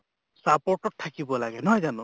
support ত থাকিব লাগে নহয় জানো?